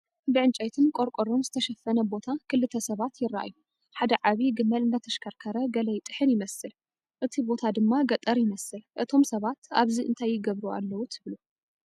ብዕንጨይትን ቆርቆሮን ዝተሸፈነ ቦታ ክልተ ሰባት ይረኣዩ። ሓደ ዓብይ ገመል እንዳተሽከርከረ ገለ ይጥሕን ይመስል፡ እቲ ቦታ ድማ ገጠር ይመስል። እቶም ሰባት ኣብዚ እንታይ ይገብሩ ኣለዉ ትብሉ?